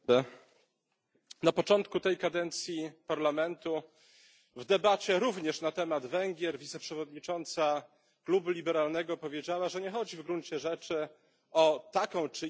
Na początku tej kadencji Parlamentu w debacie również na temat Węgier wiceprzewodnicząca klubu liberalnego powiedziała, że nie chodzi w gruncie rzeczy o taką czy inną ustawę.